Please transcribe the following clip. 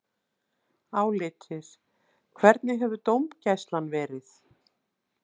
Álitið: Hvernig hefur dómgæslan verið?